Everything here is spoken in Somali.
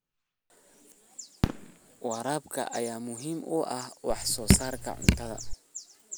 Waraabka ayaa muhiim u ah wax soo saarka cuntada.